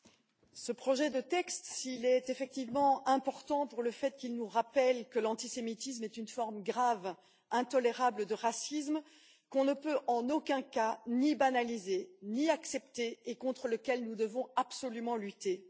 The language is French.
Monsieur le Président, ce projet de texte est effectivement important parce qu'il nous rappelle que l'antisémitisme est une forme grave et intolérable de racisme, qu'on ne peut en aucun cas banaliser ni accepter et contre lequel nous devons absolument lutter.